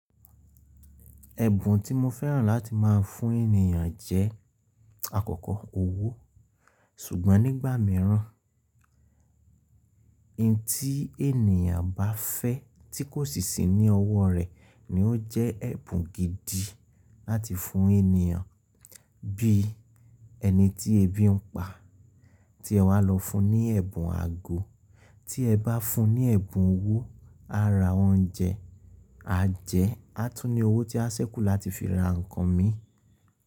Ẹ̀bùn tí mo fẹ́ràn láti má a fún ènìyàn jẹ́, àkọ́kọ́, owó. Ṣùgbọ́n nígbà míràn, ohun tí ènìyàn bá fẹ́ tí kò sì sí ní ọwọ́ rẹ̀ ni ó jẹ́ ẹ̀bùn gidi láti fún ènìyàn. Bí ẹni tí ẹbí ń pa tí ẹ wá lọ fún ní ẹ̀bùn ago, tí ẹ bá fún un ní ẹ̀bùn owó, a ra oúnjẹ, a jẹẹ́, a tún ní owó tí a ṣẹ́kù láti fi ra nǹkan mi.